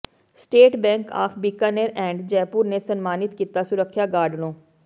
state bank of Bikaner and Jaipur ਨੇ ਸਨਮਾਨਿਤ ਕੀਤਾ ਸੁਰੱਖਿਆ ਗਾਰਡ ਨੂੰ